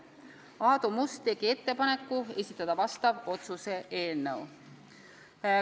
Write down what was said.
Aadu Must tegi ettepaneku esitada vastav otsuse eelnõu.